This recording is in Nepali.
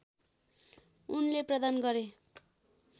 उनले प्रदान गरे